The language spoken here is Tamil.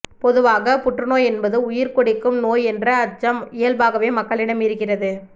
பொதுவாக புற்றுநோய் என்பது உயிர்க் குடிக்கும் நோய் என்ற அச்சம் இயல்பாகவே மக்களிடம் இருக்கிறது